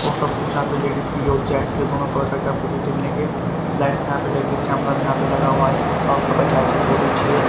और सब कुछ यहां पे लेडीज भी और जेंट्स भी दोनों प्रकार के आपको जूते मिलेंगे लाइट्स यहां पे लेग कैमरा भी यहां पे लगा हुआ है और साफ सफाई हाइजीन बहुत अच्छी है।